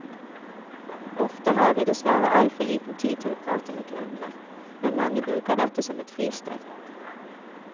Ofte har vi dessverre altfor liten tid til å prate med kundene, men mange bruker dette som et fristed.